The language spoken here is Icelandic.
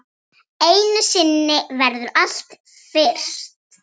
Einu sinni verður allt fyrst.